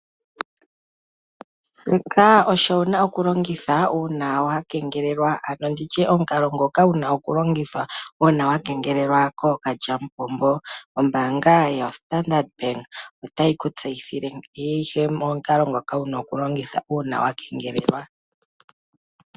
Shoka osho wuna oku longitha uuna wa keengelwa, ano nditye omukalo wuna oku longitha uuna wa keengelelwa kookalyamupombo. Ombaga yo Standard Bank ota yiku tseyithile, omukalo ngoka wuna oku longitha uuna wa kengelelwa.